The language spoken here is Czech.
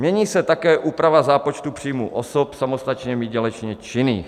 Mění se také úprava zápočtu příjmu osob samostatně výdělečně činných.